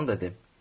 Sultan dedi: